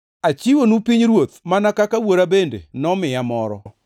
Achiwonu pinyruoth, mana kaka Wuora bende nomiya moro,